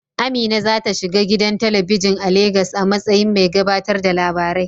Amina za ta shiga gidan talabijin a Legas a matsayin mai gabatar da labarai.